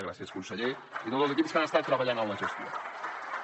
gràcies conseller i a tots els equips que han estat treballant en la gestió